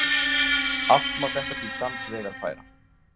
Allt má þetta til sanns vegar færa.